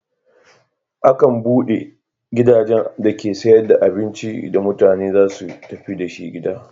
Akan buɗe gidajen dake sayar da abincin da mutane za su tafi da shi gida.